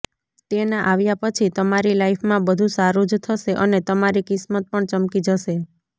તેના આવ્યા પછી તમારી લાઇફમાં બધુ સારુ જ થશે અને તમારી કિસ્મત પણ ચમકી જશે